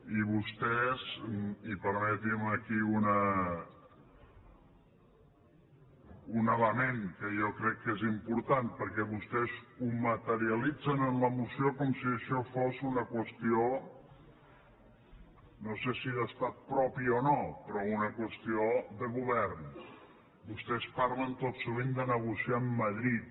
i vostès i permeti’m aquí un element que jo crec que és important perquè vostès ho materialitzen en la mo·ció com si això fos una qüestió no sé si d’estat propi o no però una qüestió de govern parlen tot sovint de negociar amb madrid